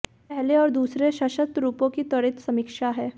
यहां पहले और दूसरे सशर्त रूपों की त्वरित समीक्षा है